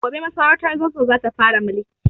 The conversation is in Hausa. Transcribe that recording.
Gobe masarautar Zazzau za ta fara mulki.